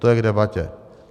To je k debatě.